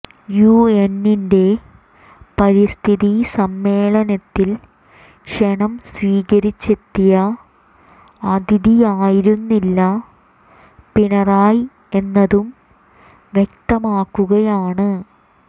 യുഎന്നിന്റെ പരിസ്ഥിതി സമ്മേളനത്തിൽ ക്ഷണം സ്വീകിരിച്ചെത്തിയ അതിഥിയായിരുന്നില്ല പിണറായി എന്നതും വ്യക്തമാകുകയാണ്